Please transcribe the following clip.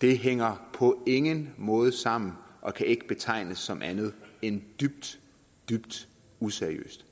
det hænger på ingen måde sammen og kan ikke betegnes som andet end dybt dybt useriøst